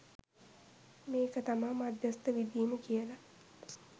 මේක තමයි මධ්‍යස්ථ විඳීම කියල.